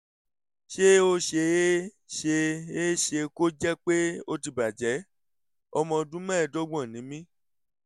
ṣé ó ṣe é ṣe é ṣe kó jẹ́ pé ó ti bàjẹ́? ọmọ ọdún mẹ́ẹ̀ẹ́dọ́gbọ̀n ni mí